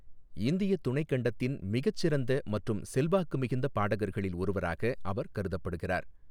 இந்திய துணைக் கண்டத்தின் மிகச் சிறந்த மற்றும் செல்வாக்கு மிகுந்த பாடகர்களில் ஒருவராக அவர் கருதப்படுகிறார்.